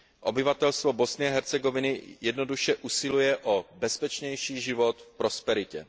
Obyvatelstvo Bosny a Hercegoviny jednoduše usiluje o bezpečnější život v prosperitě.